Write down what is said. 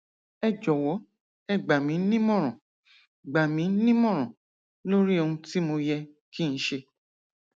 ẹ jọwọ ẹ gbà mí nímọràn gbà mí nímọràn lórí ohun tí mo yẹ kí n ṣe